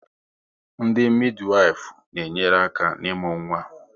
Ndị midiwifu na enyere aka n'imu nwa